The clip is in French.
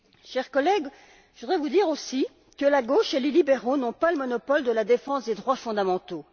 Chers collègues, je voudrais vous dire aussi que la gauche et les libéraux n'ont pas le monopole de la défense des droits fondamentaux.